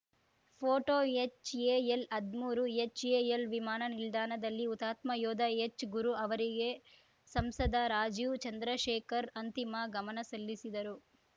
photo ಎಚ್‌ಎಎಲ್‌ಹದ್ಮೂರು HAL ವಿಮಾನ ನಿಲ್ದಾಣದಲ್ಲಿ ಹುತಾತ್ಮ ಯೋಧ ಎಚ್‌ ಗುರು ಅವರಿಗೆ ಸಂಸದ ರಾಜೀವ್‌ ಚಂದ್ರಶೇಖರ್‌ ಅಂತಿಮ ಗಮನ ಸಲ್ಲಿಸಿದರು